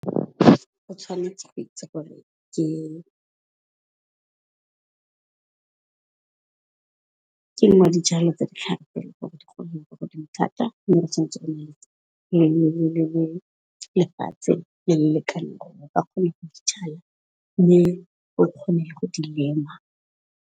O tshwanetse o itse gore ke ke nngwe ya dijalo di thata. Mme go kgone go di lema.